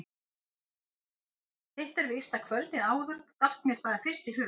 Hitt er víst að kvöldið áður datt mér það fyrst í hug.